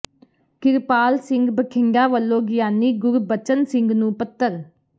ਕਿਰਪਾਲ ਸਿੰਘ ਬਠਿੰਡਾ ਵਲੋਂ ਗਿਆਨੀ ਗੁਰਬਚਨ ਸਿੰਘ ਨੂੰ ਪੱਤਰ